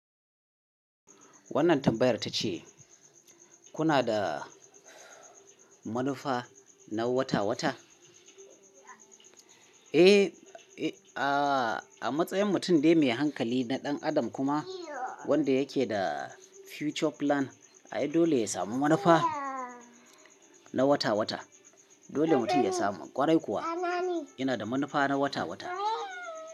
Wannan tambayar ta ce kuna da manufa na wata wata? Eh, a matsayin mutum dai mai hankali na ɗan adam kuma wanda yake da future plan, ai dole ya samu manufa na wata wata. Dole mutum ya samu. Kwarai kuwa yana da manufa na wata wata.